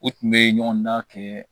U tun bɛ ɲɔgɔn dan kɛ